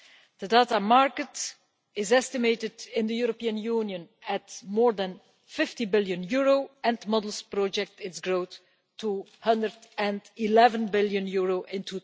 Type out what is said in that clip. The data market is estimated in the European Union at more than EUR 50 billion and models project its growth to EUR 111 billion in